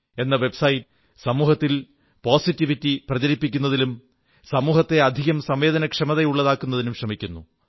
com എന്ന site സമൂഹത്തിൽ positivity പ്രചരിപ്പിക്കുന്നതിലും സമൂഹത്തെ അധികം സംവേദനക്ഷമതയുള്ളതാക്കുന്നതിനും ശ്രമിക്കുന്നു